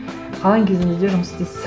қалған кезіңізде жұмыс істейсіз